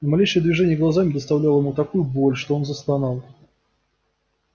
малейшее движение глазами доставляло ему такую боль что он застонал